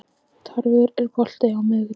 Tarfur, er bolti á miðvikudaginn?